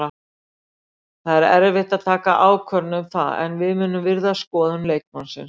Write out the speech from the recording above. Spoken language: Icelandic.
Það er erfitt að taka ákvörðun um það en við munum virða skoðun leikmannsins.